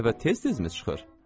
35 dəfə tez-tezmi çıxır?